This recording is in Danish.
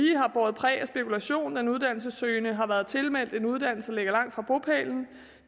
båret præg af spekulation når en uddannelsessøgende har været tilmeldt en uddannelse der ligger langt fra bopælen